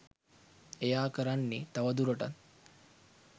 එයා කරන්නේ තවදුරටත්